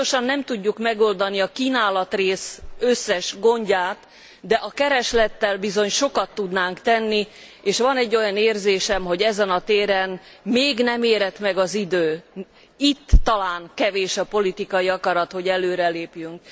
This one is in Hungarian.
Biztosan nem tudjuk megoldani a kínálat összes gondját, de a kereslettel bizony sokat tudnánk tenni, és van egy olyan érzésem, hogy ezen a téren még nem érett meg az idő, itt talán kevés a politikai akarat, hogy előre lépjünk.